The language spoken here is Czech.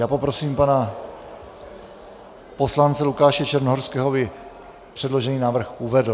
Já poprosím pana poslance Lukáše Černohorského, aby předložený návrh uvedl.